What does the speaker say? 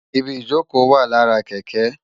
Ibi ijókö wá làrá kèkè